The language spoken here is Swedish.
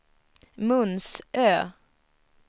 Munsö